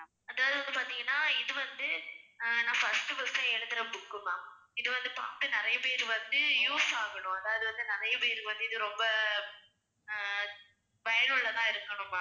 அதாவது வந்து பார்த்தீங்கன்னா இது வந்து ஆஹ் நான் first உ first எழுதுற book உ ma'am இது வந்து பார்த்த நிறைய பேர் வந்து use ஆகணும் அதாவது வந்து நிறைய பேருக்கு வந்து இது ரொம்ப அஹ் பயனுள்ளதா இருக்கணும் ma'am